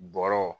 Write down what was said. Bɔrɔw